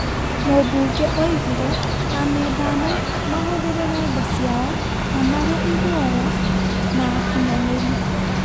Mũmbunge oigire amemba amwe mahũthĩrĩre nda ciao na marĩ iguoya na akunyanĩri ,